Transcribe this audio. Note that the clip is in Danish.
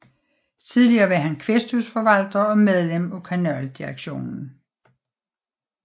Tillige var han kvæsthusforvalter og medlem af kanaldirektionen